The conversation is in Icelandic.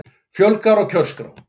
Fjölgar á kjörskrá